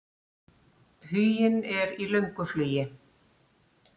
Huginn er í löngu flugi.